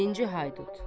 Birinci Haydut.